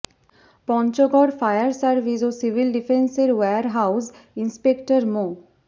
Panchagarh fire service ও civil ডিফেন্সের warehouse inspector মো